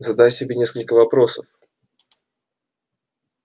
задай себе несколько вопросов